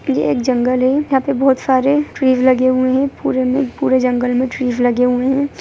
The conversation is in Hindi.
ये एक जंगल है यहां पे बहुत सारे ट्रीज लगे हुए है पुरे में पूरे जंगल मे ट्रीज लगे हुए है।